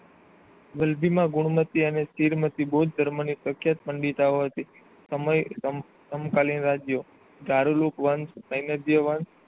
વલભીમાં ગુણમતી અને ચીડમતી બૌદ્ધ ધર્મની પ્રખ્યાત મંદિતા ઑ હતી. સમય અનુકાલીન રાજ્ય ધરૂલોક વંશ સેનેભય વંશ